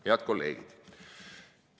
Head kolleegid!